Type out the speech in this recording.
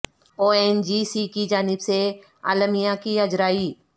او N G C کی جانب سے اعلامیہ کی اجرائی